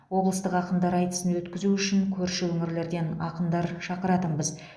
облыстық ақындар айтысын өткізу үшін көрші өңірлерден ақындар шақыратынбыз